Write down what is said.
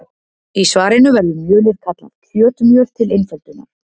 Í svarinu verður mjölið kallað kjötmjöl til einföldunar.